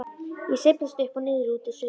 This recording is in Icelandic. Ég sveiflast upp og niður, út og suður.